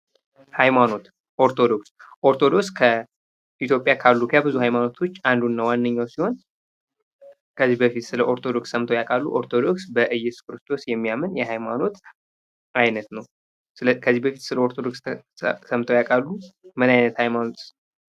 ሀይማኖት ኦርቶዶክስ:- ኦርቶዶክስ ከኢትዮጵያ ካሉ ከብዙ ሀይማኖት አንዱ እና ዋነኛዉ ሲሆን ከዚህ በፊት ስለ ኦርቶዶክስ ሰምተዉ ያዉቃሉ? ኦርቶዶክስ በኢየሱስ ክርስቶስ የሚያምን የሀይማኖት አይነት ነዉ። ከዚህ በፊት ስለ ኦርቶዶክስ ሰምተዉ ያዉቃሉ? ምን አይነት ሀይማኖትስ ነዉ?